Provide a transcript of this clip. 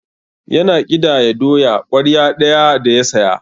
Yana ƙidaya doya ƙwarya ɗaya da ya saya.